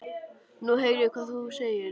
Nú heyri ég hvað þú segir.